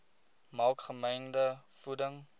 maak gemengde voeding